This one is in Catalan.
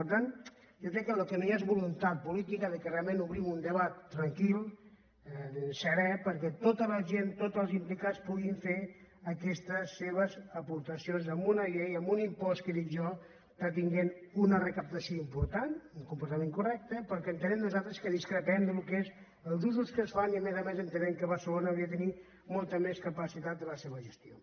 per tant jo crec que el que no hi ha és voluntat política que realment obrim un debat tranquil serè perquè tota la gent tots els implicats puguin fer aquestes seves aportacions en una llei en un impost que dic jo està tenint una recaptació important un comportament correcte però que entenem nosaltres que discrepem del que són els usos que se’n fa i a més a més entenem que barcelona hauria de tenir molta més capacitat en la seva gestió